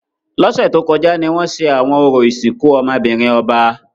Lọsẹ to kọja ni wọn ṣe awọn orȯ isinku ọmọ-binrin ọba.